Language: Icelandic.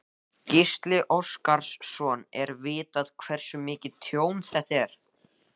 Gísli Óskarsson: Er vitað hversu mikið tjón þetta er?